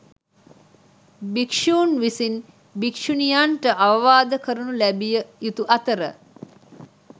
භික්‍ෂූන් විසින් භික්‍ෂුණියන්ට අවවාද කරනු ලැබිය යුතු අතර